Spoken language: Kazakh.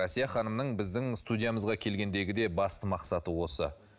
әсия ханымның біздің студиямызға келгендегі де басты мақсаты осы